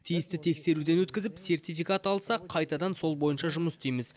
тиісті тексеруден өткізіп сертификат алсақ қайтадан сол бойынша жұмыс істейміз